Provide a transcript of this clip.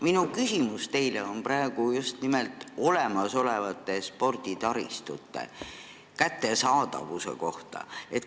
Minu küsimus teile praegu on just nimelt olemasoleva sporditaristu kättesaadavuse kohta.